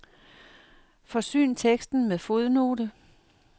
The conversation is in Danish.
Forsyn teksten med fodnote.